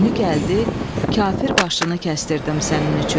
Günü gəldi, kafir başını kəsdirim sənin üçün.